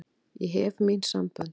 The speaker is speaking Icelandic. Ég hef mín sambönd.